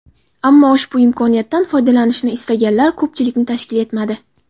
Ammo ushbu imkoniyatdan foydalanishni istaganlar ko‘pchilikni tashkil etmadi.